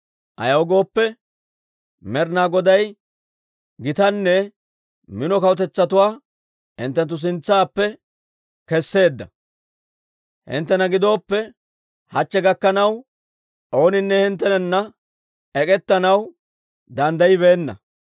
«Ayaw gooppe, Med'ina Goday gitanne mino kawutetsatuwaa hinttenttu sintsaappe keseedda. Hinttena gidooppe, hachche gakkanaw ooninne hinttenana ek'ettanaw danddayibeenna.